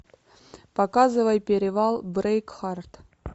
показывай перевал брейкхарт